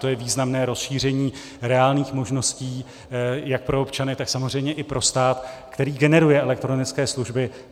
To je významné rozšíření reálných možností jak pro občany, tak samozřejmě i pro stát, který generuje elektronické služby.